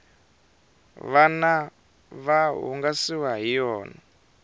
vana va hungasiwa hi yona